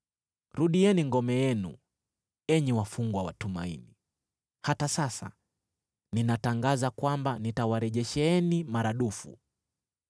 Rudieni ngome yenu, enyi wafungwa wa tumaini; hata sasa ninatangaza kwamba nitawarejesheeni maradufu.